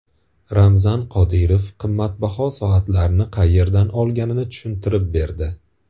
Ramzan Qodirov qimmatbaho soatlarni qayerdan olganini tushuntirib berdi.